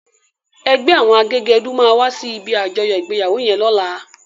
Ègbè áwòn àgégèdú má wàsí ibi ájòyò igbéyáwó yèn lòlá